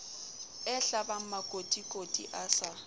e hlabang makotikoti a sa